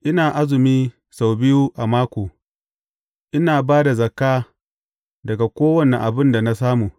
Ina azumi sau biyu a mako, ina ba da zakka daga kowane abin da na samu.’